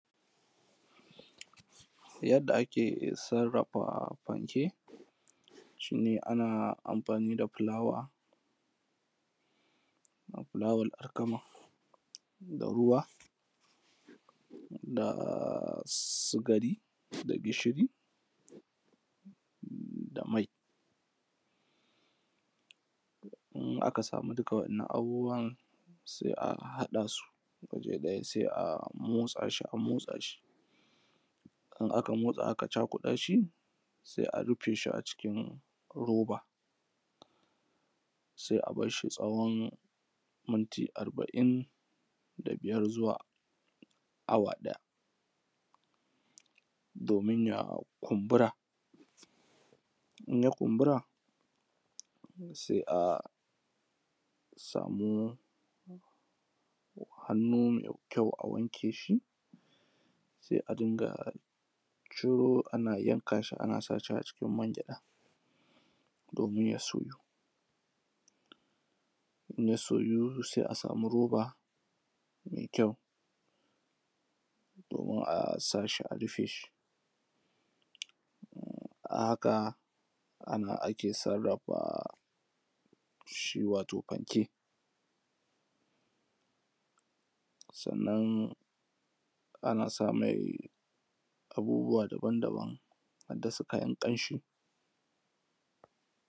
yadda ake sarrafa fanke shi ne ana amfani da fulawa da fulawan alkama da ruwa da sugari da gishiri da mai in aka samu duka waɗannan abubuwan sai a haɗa su waje ɗaya sai a motsa su a motsa shi in aka motsa aka cakuɗa shi sai a rufe shi a cikin roba sai a bar shi tsawon minti arba'in da biyar zuwa awa ɗaya domin ya kumbura in ya kumbura sai a samu hannu mai kyau a wanke shi sai a dinga ciro ana yanka shi ana sa shi a cikin man gyaɗa domin ya soyu in ya soyu sai a samu roba mai kyau domin a sa shi a rufe shi a haka a nan ake sarrafa shi wato fanke sannan ana sa mai abubuwa daban daban harda su kayan ƙanshi